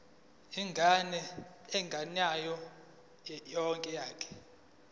ingane engeyona eyakho